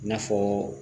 I n'a fɔ